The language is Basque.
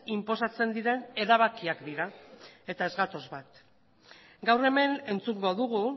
inposatzen diren erabakiak dira eta ez gatoz bat gaur hemen entzungo dugu